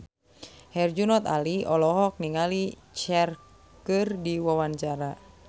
Herjunot Ali olohok ningali Cher keur diwawancara